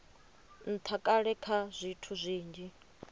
ntha kale kha zwithu zwinzhi